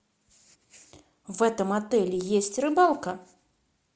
в этом отеле есть рыбалка